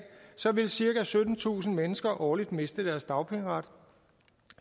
vil cirka syttentusind mennesker årligt miste deres dagpengeret og